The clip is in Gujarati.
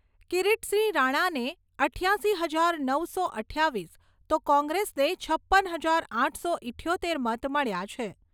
કિરીટસિંહ રાણાને ઈઠ્યાશી હજાર નવસો અઠ્ઠાવીસ, તો કોંગ્રેસને છપ્પન હજાર આઠસો ઈઠ્યોતેર મત મળ્યા છે.